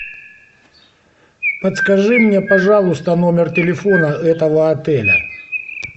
подскажи мне пожалуйста номер телефона этого отеля